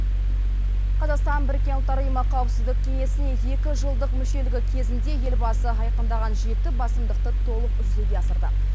қазақстан біріккен ұлттар ұйымы қауіпсіздік кеңесіне екі жылдық мүшелігі кезінде елбасы айқындаған жеті басымдықты толық жүзеге асырды